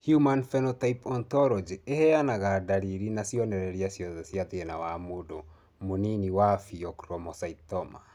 Human Phenotype Ontology ĩheanaga ndariri na cionereria ciothe cia thĩna wa mũndũ mũnini wa Pheochromocytoma?